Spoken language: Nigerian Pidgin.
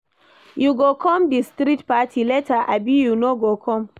You go come di street party later abi you no go come?